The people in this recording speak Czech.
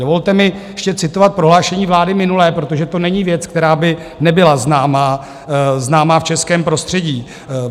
Dovolte mi ještě citovat prohlášení vlády minulé, protože to není věc, která by nebyla známá v českém prostředí.